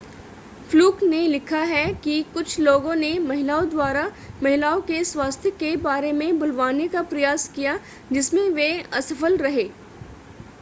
fluke ने लिखा है कि कुछ लोगों ने महिलाओं द्वारा महिलाओं के स्वास्थ्य के बारे में बुलवाने का प्रयास किया जिसमें वे असफल रहे